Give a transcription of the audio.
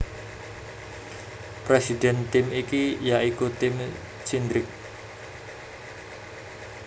Presiden tim iki ya iku Tim Cindric